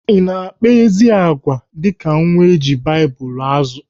I na-akpa ezi agwà dịka nwa eji Baịbụl azụ?